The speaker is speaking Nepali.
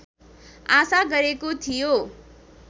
आशा गरेको थियो